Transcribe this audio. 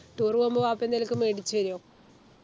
tour പോകുമ്പോ വാപ്പ എന്തേലും ഒക്കെ മേടിച്ചു തരോ